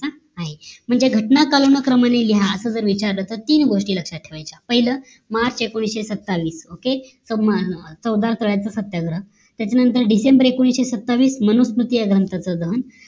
म्हणजे घटना कालानुक्रमाने लिहा असं जर विचारलं तर तीन गोष्टी लक्ष्यात ठेवायचं पहिला मार्च एकोणीशे सत्तावीस okay सौदार तळ्याचा सत्याग्रह त्याच्या नंतर डिसेंबर एकोणीशे सत्तावीस माणसपती या ग्रहंताचे दहन